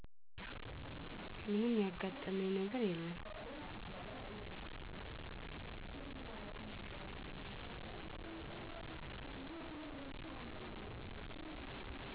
ምንም ያጋጠመኝ ነገር የለም